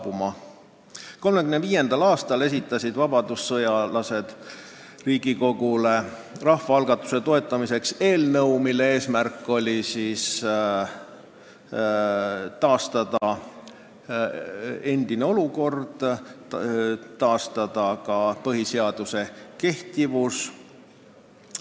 1935. aastal esitasid vabadussõjalased rahva algatuse toetamiseks eelnõu, mille eesmärk oli taastada endine olukord, sh taastada ka põhiseaduse kehtivus.